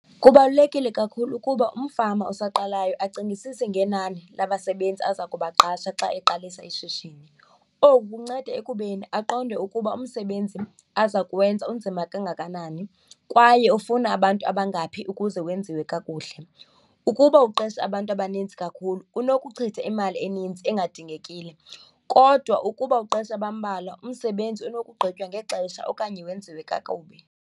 Kubalulekile kakhulu ukuba umfama osaqalayo acingisise ngenani labasebenzi aza kubaqasha xa eqalisa ishishini. Oku kunceda ekubeni aqonde ukuba umsebenzi aza kuwenza unzima kangakanani kwaye ufuna abantu abangaphi ukuze wenziwe kakuhle. Ukuba uqesha abantu abanintsi kakhulu unokuchitha imali eninzi engadingingekile kodwa ukuba uqesha abambalwa, umsebenzi unokugqitywa ngexesha okanye wenziwe kakubi.